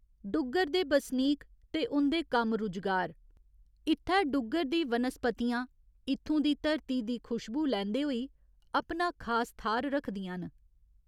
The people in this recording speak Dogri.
डुग्गर दे बसनीक ते उं'दे कम्म रुजगार इत्थै डुग्गर दी वनस्पतिआं इत्थूं दी धरती दी खुशबू लैंदे होई अपना खास थाह्‌र रक्खदियां न।